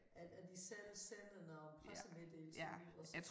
At at de selv sender når pressemeddelelser ud og så